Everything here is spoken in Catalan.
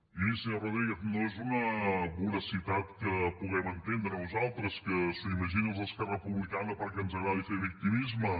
i miri senyor rodríguez no és una voracitat que puguem entendre nosaltres que s’ho imaginin els d’esquerra republicana perquè ens agrada fer victimisme